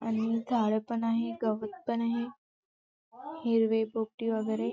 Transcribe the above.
आणि झाड पण आहे गवत पण आहे हिरवे पोपटी वगैरे--